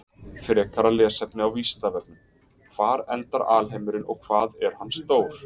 Frekara lesefni á Vísindavefnum: Hvar endar alheimurinn og hvað er hann stór?